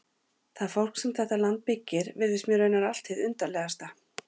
Það fólk sem þetta land byggir virðist mér raunar allt hið undarlegasta.